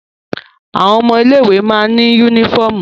Àwọn ilé ìwé má ní yúnífọ̀mù